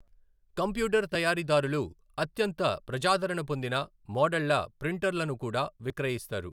Computer తయారీదారులు అత్యంత ప్రజాదరణ పొందిన మోడళ్ల ప్రింటర్లను కూడా విక్రయిస్తారు.